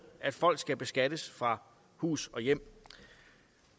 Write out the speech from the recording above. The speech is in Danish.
at folk skal beskattes fra hus og hjem